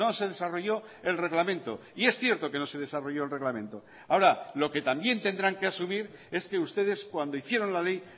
se desarrolló el reglamento y es cierto que no se desarrolló el reglamento ahora lo que también tendrán que asumir es que ustedes cuando hicieron la ley